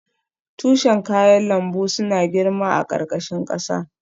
Tushen kayan lambu suna girma a ƙarƙashin ƙasa.